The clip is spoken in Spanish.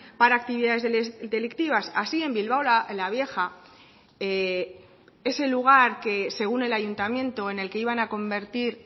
para actividades delictivas así en bilbao la vieja es el lugar que según el ayuntamiento en el que iban a convertir